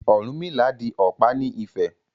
Ọ̀rúnmìlà di ọ̀pá ní Ifẹ̀.